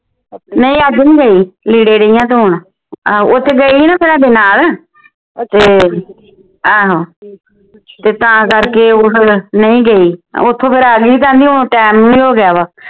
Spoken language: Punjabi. ਨਹੀਂ ਅੱਜ ਨਹੀਂ ਗਈ ਲੀੜੇ ਢਈ ਆ ਧੋਣ ਉਹ ਤੇ ਗਈ ਸੀ ਨਾ ਫੇਰ ਸਾਡੇ ਨਾਲ ਤੇ ਆਹੋ ਤੇ ਤਾਂ ਕਰਕੇ ਉਹ ਫੇਰ ਨਹੀਂ ਗਈ ਓਥੋਂ ਫੇਰ ਆ ਗਈ ਸੀ ਤਾਇਉਂ ਟੈਮ ਵੀ ਹੋ ਗਿਆ ਵਾ